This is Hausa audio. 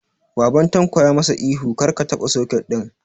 Baban Tanko ya ma sa ihu 'Kar ka taɓa soket ɗin'!